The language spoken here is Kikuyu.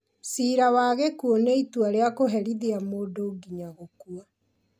Ciira wa gĩkuũ nĩ itua rĩa kũherithia mũndũ nginya gũkua